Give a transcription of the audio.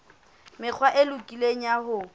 mekgwa e lokileng ya ho